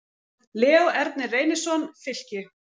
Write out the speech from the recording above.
Leó Ernir Reynisson, Fylki